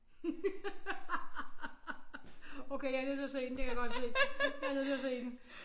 Ha ha okay jeg nødt til at se den det kan jeg godt se jeg er nødt til at se den